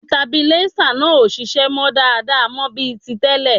Sitabilíísà náà ò ṣiṣẹ́ mọ́ dáadáa mọ́ bí ti tẹ́lẹ̀